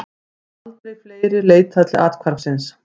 Aldrei fleiri leitað til athvarfsins